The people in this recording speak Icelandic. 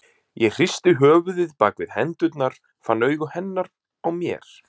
Ég hristi höfuðið bak við hendurnar, fann augu hennar á mér.